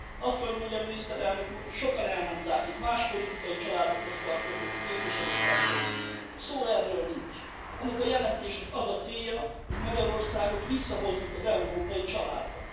Azt kell, hogy mondjam, Miniszterelnök úr, sokan elmondták itt más politikai családokhoz tartozó képviselőtársaim is, szó sincs erről. Ennek a jelentésnek az a célja, hogy Magyarországot visszahozzuk az európai családba.